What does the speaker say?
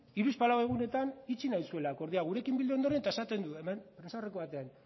hiruzpalau egunetan itxi nahi zuela akordioa gurekin bildu ondoren eta esaten du